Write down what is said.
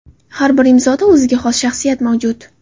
Har bir imzoda o‘ziga xos shaxsiyat mavjud.